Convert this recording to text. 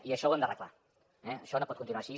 i això ho hem d’arreglar això no pot continuar així